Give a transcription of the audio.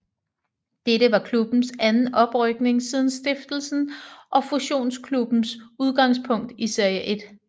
Dette var klubbens anden oprykning siden stiftelsen og fusionsklubbens udgangspunkt i Serie 1